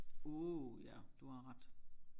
Uh ja du har ret